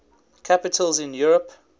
capitals in europe